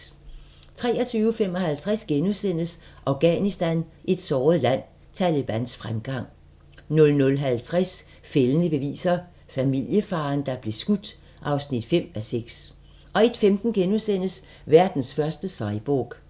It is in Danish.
23:55: Afghanistan – et såret land: Talebans fremgang * 00:50: Fældende beviser - familiefaderen, der blev skudt (5:6) 01:15: Verdens første cyborg *